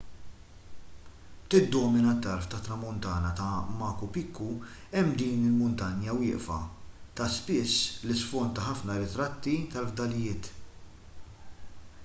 tiddomina t-tarf tat-tramuntana ta' machu picchu hemm din il-muntanja wieqfa ta' spiss l-isfond ta' ħafna ritratti tal-fdalijiet